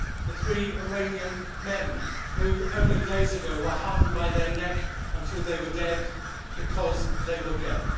the three Iranian men who only days ago were hanged by their neck until they were dead because they were gay